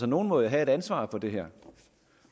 nogen må jo have et ansvar for det her